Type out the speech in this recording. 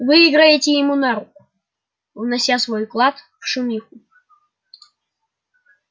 вы играете ему на руку внося свой вклад в шумиху